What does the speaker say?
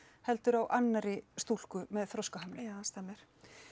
heldur annarri stúlku með þroskahömlun já það stemmir